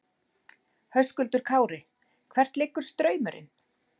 Höskuldur Kári: Hvert liggur straumurinn?